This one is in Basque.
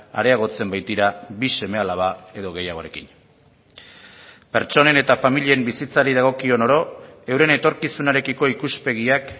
areagotzen baitira bi seme alaba edo gehiagorekin pertsonen eta familien bizitzari dagokion oro euren etorkizunarekiko ikuspegiak